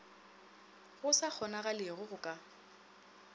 go sa kgonagalego go ka